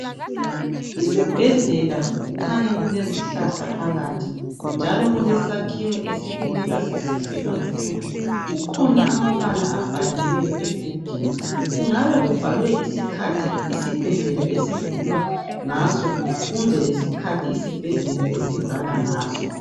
Isibhedlela kukhanya kulezihlahla phakathi njalo kulesakhiwo esibukeka sisihle kakhulu, kukhona amabala abhaliweyo egedini kungabe kubhalwe isikhathi esivulwa ngaso kumbe isikhathi isibhedlela esivalwa ngaso.